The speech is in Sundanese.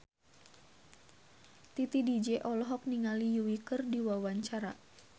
Titi DJ olohok ningali Yui keur diwawancara